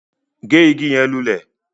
Gé ìgi yẹn lulẹ!